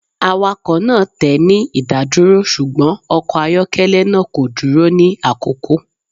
Awakọ naa tẹ ni idaduro, ṣugbọn ọkọ ayọkẹlẹ naa ko duro ni akoko.